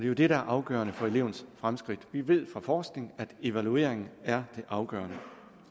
jo det der er afgørende for elevens fremskridt vi ved fra forskning at evalueringen er det afgørende